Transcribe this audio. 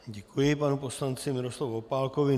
Děkuji panu poslanci Miroslavu Opálkovi.